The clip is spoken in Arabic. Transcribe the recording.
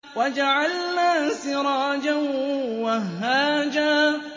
وَجَعَلْنَا سِرَاجًا وَهَّاجًا